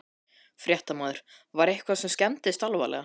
Fréttamaður: Var eitthvað sem skemmdist alvarlega?